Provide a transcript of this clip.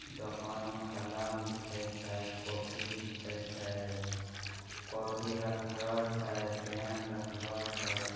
दुकान में कलम बिके छै कॉपी बिके छै। कॉपी रखलों छै पेन रखलों छै।